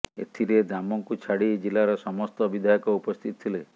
ଏଥିରେ ଦାମଙ୍କୁ ଛାଡି ଜିଲାର ସମସ୍ତ ବିଧାୟକ ଉପସ୍ଥିତ ଥିଲେ